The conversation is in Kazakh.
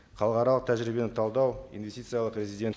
халықаралық тәжірибені талдау инвестициялық резидент